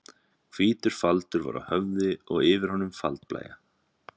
Hvítur faldur var á höfði og yfir honum faldblæja.